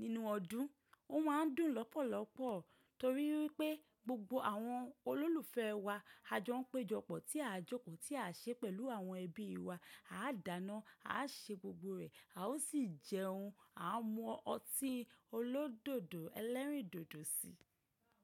nínú ọdún. Ó má ń dùn lọ́pọ̀lọpọ̀ torí wípé gbogbo àwọn olólùfẹ́ wa ajọ ń péjọpọ̀ tí a jókòó, tí à ṣe pẹ̀lú àwọn ẹbí wa, a dàna, a ṣe gbogbo rẹ̀, a ó sì jẹun. A mú ọtí ẹlẹ́rìndòdò síi.